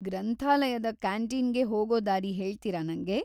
ಗ್ರಂಥಾಲಯದ ಕ್ಯಾಂಟೀನ್‌ಗೆ ಹೋಗೋ ದಾರಿ ಹೇಳ್ತೀರಾ ನಂಗೆ?